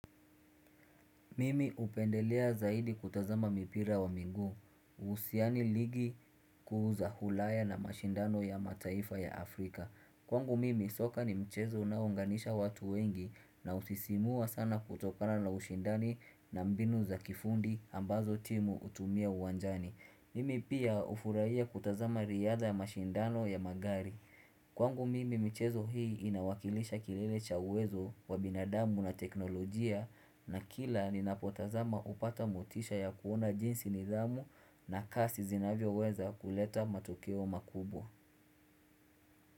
Mimi hupendelea zaidi kutazama mipira wa miguu. Usiani ligi kuuza hulaya na mashindano ya mataifa ya Afrika. Kwangu mimi soka ni mchezo unao unganisha watu wengi na usisimua sana kutokana na ushindani na mbinu za kifundi ambazo timu utumia uwanjani. Mimi pia ufurahia kutazama riadha ya mashindano ya magari Kwangu mimi michezo hii inawakilisha kilele chawezo wa binadamu na teknolojia na kila ni napotazama upata motisha ya kuona jinsi ni damu na kasi zinavyo weza kuleta matokeo makubwa.